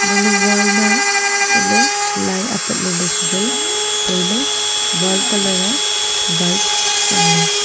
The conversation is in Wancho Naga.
hala ley wall ma chat lei apat ley chuwai tailey wall colour aa white chaley.